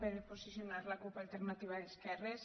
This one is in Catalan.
per posicionar la cup · alternativa d’es·querres